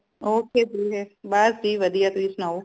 ok dear ਬਸ ਜੀ ਵਧੀਆ ਤੁਸੀ ਸੁਣਾਓ